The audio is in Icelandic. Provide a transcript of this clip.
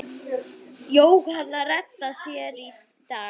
Jóhanna: Redda þér í dag?